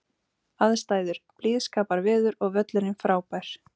Aðstæður: Blíðskaparveður og völlurinn frábær.